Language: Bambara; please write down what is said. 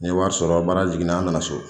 Ne ye wari sɔrɔ baara jigininen n nana so